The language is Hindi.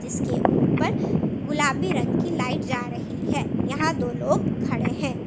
जिसके ऊपर गुलाबी रंग की लाइट जा रही है यहां दो लोग खड़े है।